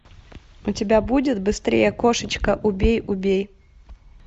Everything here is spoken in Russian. у тебя будет быстрее кошечка убей убей